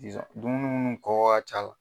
Sisan, dumini ni kɔkɔ ka ca.